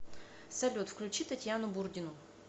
салют включи татьяну бурдину